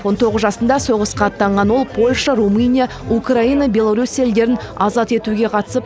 он тоғыз жасында соғысқа аттанған ол польша румыния украина беларусь елдерін азат етуге қатысып